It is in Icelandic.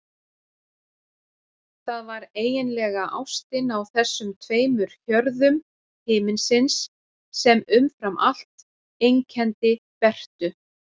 Það var eiginlega ástin á þessum tveimur hjörðum himinsins sem umfram allt einkenndi Bertu.